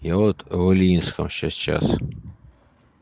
я вот оленинском сейчас